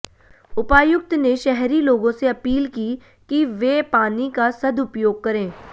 उपायुक्त ने शहरी लोगों से अपील की कि वे पानी का सदुपयोग करें